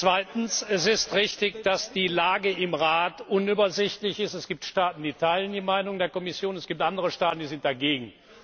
Zweitens, es ist richtig, dass die Lage im Rat unübersichtlich ist, es gibt Staaten, die teilen die Meinung der Kommission, es gibt andere Staaten, die sind dagegen.